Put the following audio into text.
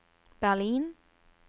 Berlin